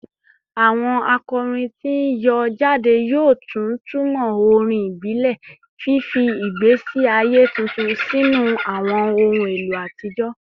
Awọn akọrin ti n yọ jade yoo tuntumọ orin ibile, fifi igbesi aye tuntun sinu awọn ohun elo atijọ